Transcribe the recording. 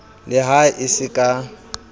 le ha e se ka